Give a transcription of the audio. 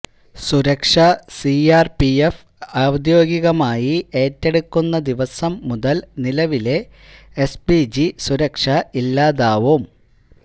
സുരക്ഷ സിആര്പിഎഫ് ഔദ്യോഗികമായി ഏറ്റെടുക്കുന്ന ദിവസം മുതല് നിലവിലെ എസ് പിജി സുരക്ഷ ഇല്ലാതാവും